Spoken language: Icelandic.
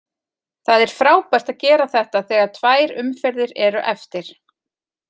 Það er frábært að gera þetta þegar tvær umferðir eru eftir.